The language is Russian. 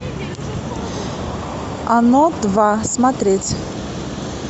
оно два смотреть